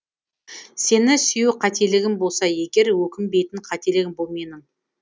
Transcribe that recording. сені сүю қателігім болса егер өкінбейтін қателігім бұл менің